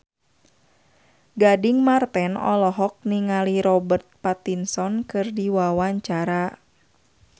Gading Marten olohok ningali Robert Pattinson keur diwawancara